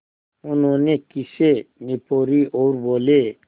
उन्होंने खीसें निपोरीं और बोले